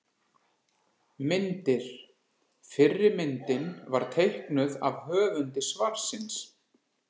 Myndir: Fyrri myndin var teiknuð af höfundi svarsins.